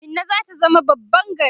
Minna zata zama babban gari